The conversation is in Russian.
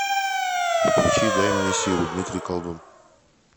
включи дай мне силу дмитрий колдун